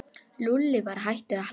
Lúlli var hættur að hlæja.